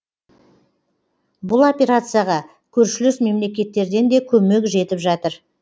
бұл операцияға көршілес мемлекеттерден де көмек жетіп жатыр